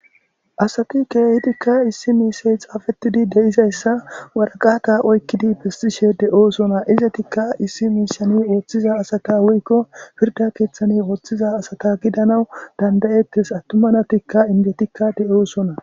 Asati keehidikka issi miishey xaafettidi deizayssa waraqata oykkidi bestishe de7oosona izetikka issi miishani ooththiza asata wuykko pirda keeththani ooththiza asata gidanawu dandayettes attumanatikka indetikka de7oosona